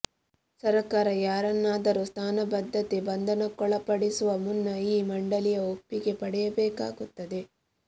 ಸರಕಾರ ಯಾರನ್ನಾದರೂ ಸ್ಥಾನಬದ್ಧತೆ ಬಂಧನಕ್ಕೊಳಪಡಿಸುವ ಮುನ್ನ ಈ ಮಂಡಲಿಯ ಒಪ್ಪಿಗೆ ಪಡೆಯಬೇಕಾಗುತ್ತದೆ